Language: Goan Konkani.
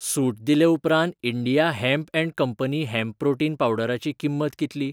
सूट दिले उपरांत India hemp and company hemp protein पावडरा ची किंमत कितली?